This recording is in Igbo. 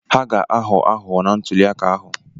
Ha ga-aghọ aghụghọ na ntuli aka ahụ.